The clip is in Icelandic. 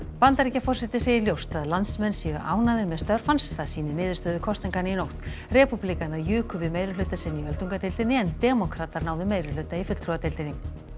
Bandaríkjaforseti segir ljóst að landsmenn séu ánægðir með störf hans það sýni niðurstöður kosninganna í nótt repúblikanar juku við meirihluta sinn í öldungadeildinni en demókratar náðu meirihluta í fulltrúadeildinni